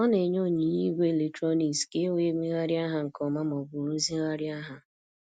Ọ na-enye onyinye igwe eletrọnịks ka e wee megharịa ha nke ọma ma ọ bụ rụzigharịa ha.